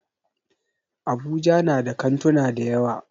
Abuja na da kantuna dayawa.